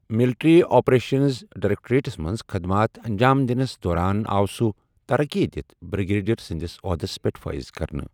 Military operations directorates منٛز خٕدمات انٛجام دِنس دورانآو سوٗ ترقی دتھ بِرٛگیڈِیَر سٕنٛدِ احدس پیٹھ فٲیض كرنہٕ ۔